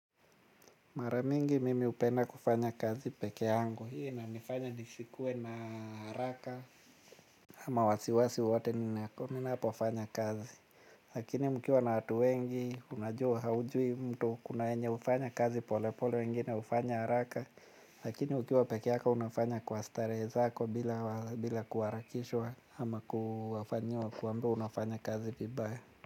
Mara mingi mimi hupenda kufanya kazi peke yangu hii inanifanya nisikuwe na haraka ama wasiwasi wowote ninapofanya kazi. Lakini mkiwa na watu wengi unajua haujui mtu kuna wenye hufanya kazi pole pole wengine hufanya haraka. Lakini ukiwa peke yako unafanya kwa starehe zako bila kuharakishwa ama kufanyiwa kuambiwa unafanya kazi vibaya.